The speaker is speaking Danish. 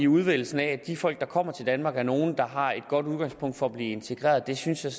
udvælgelsen af de folk der kommer til danmark er nogle der har et godt udgangspunkt for at blive integreret synes jeg